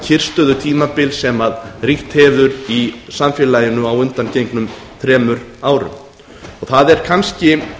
það kyrrstöðutímabil sem ríkt hefur í samfélaginu á undangengnum þremur árum það er kannski